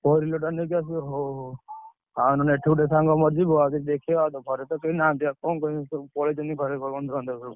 four wheeler ଟା ନେଇକି ଆସିବୁ ହଉ ହଉ। ଆଉ ନହେଲେ ଏଠୁ ମୋର ଗୋଟେ ସାଙ୍ଗଟେ ଯିବ, ଦେଖିବ ଘରେ ତ କେହି ନାହାନ୍ତି ଆଉ କଣ କରିବୁ ସବୁ ପଳେଇଛନ୍ତି ବନ୍ଧୁବାନ୍ଧବ ଘର ସବୁ।